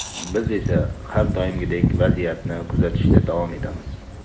Biz esa har doimgidek vaziyatni kuzatishda davom etamiz.